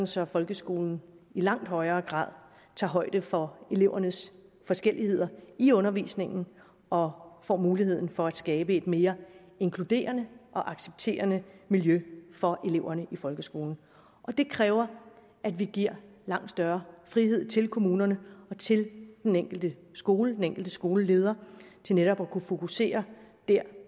så folkeskolen i langt højere grad tager højde for elevernes forskelligheder i undervisningen og får mulighed for at skabe et mere inkluderende og accepterende miljø for eleverne i folkeskolen det kræver at vi giver langt større frihed til kommunerne og til den enkelte skole den enkelte skoleleder til netop at kunne fokusere der